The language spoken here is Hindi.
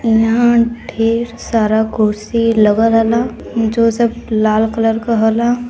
यहाँ ढेर सारा कुर्सी लगा रयला जो सब लाल कलर का हला।